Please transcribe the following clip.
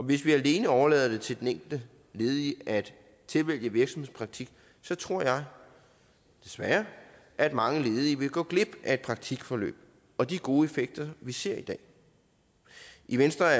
hvis vi alene overlader det til den enkelte ledige at tilvælge virksomhedspraktik så tror jeg desværre at mange ledige vil gå glip af et praktikforløb og de gode effekter vi ser i dag i venstre er